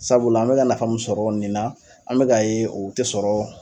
Sabula an mɛ ka nafa mun sɔrɔ nin na an bɛka ye o tɛ sɔrɔ